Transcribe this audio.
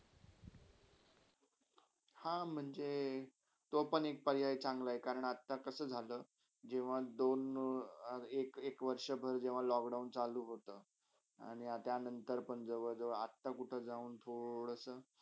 हा, म्हणजे तो पण पर्याय चंगला आहे कारण अता कसा झाला जेव्हा दोन एक एक वर्षा जेव्हा lockdown चालू होता आणि नंतर पण जेव्हा आता ते कुठे जाऊन थोडासा.